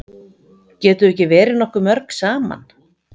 Getum við ekki verið nokkuð mörg saman?